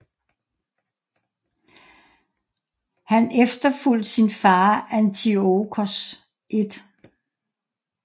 Han efterfulgt sin fader Antiochos 1